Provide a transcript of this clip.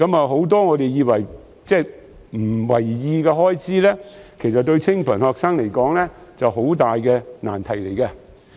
很多我們不以為意的開支，對清貧學生來說都是很大的難題。